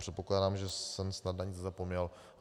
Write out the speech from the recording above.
Předpokládám, že jsem snad na nic nezapomněl.